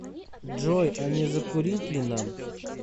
джой а не закурить ли нам